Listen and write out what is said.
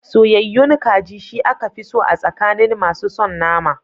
Soyayyayun kaji, shi aka fi so a tsakanin masu son nama.